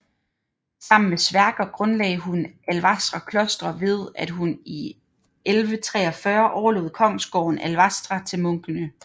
Sammen med Sverker grundlagde hun Alvastra kloster ved at hun i 1143 overlod kongsgården Alvastra til munkene